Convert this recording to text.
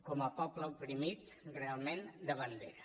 com a poble oprimit realment de bandera